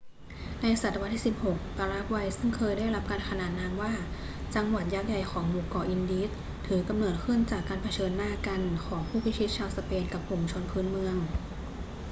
ในศตวรรษที่ 16 ปารากวัย ซึ่งเคยได้รับการขนามนามว่า จังหวัดยักษ์ใหญ่ของหมู่เกาะอินดีส ถือกำเนิดขึ้นจากการเผชิญหน้ากันของผู้พิชิตชาวสเปนกับกลุ่มชนพื้นเมือง